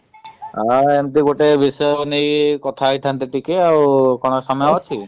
ଆଉ ଏମିତି ଗୋଟେ ବିଷୟ ନେଇ କଥା ହେଇଥାନ୍ତେ ଟିକେ ଆଉ କଣ ସମୟ ଅଛି?